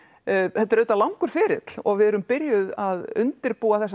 þetta er auðvitað langur ferill og við erum byrjuð að undirbúa þessa